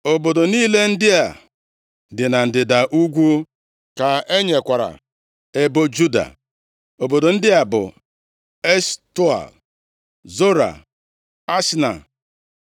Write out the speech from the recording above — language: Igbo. Obodo niile ndị a dị na ndịda ugwu ka e nyekwara ebo Juda. Obodo ndị a bụ, Eshtaol, Zora, Ashna,